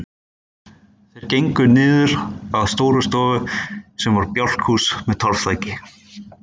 Þeir gengu niður að Stórustofu sem var bjálkahús með torfþaki.